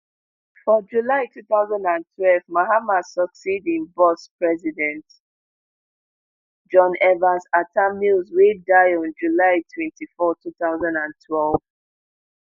for july two thousand and twelve mahama succeed im boss president john evans atta mills wey die on july twenty-four two thousand and twelve